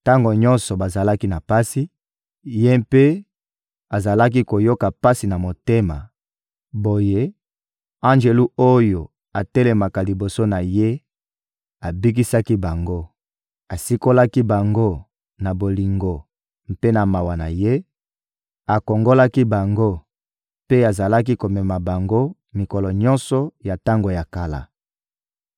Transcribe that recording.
Tango nyonso bazalaki na pasi, Ye mpe azalaki koyoka pasi na motema; boye, anjelu oyo atelemaka liboso na Ye abikisaki bango; asikolaki bango na bolingo mpe na mawa na Ye, akongolaki bango mpe azalaki komema bango mikolo nyonso ya tango ya kala.